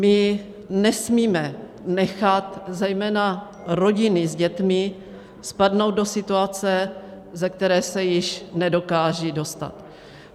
My nesmíme nechat zejména rodiny s dětmi spadnout do situace, ze které se již nedokážou dostat.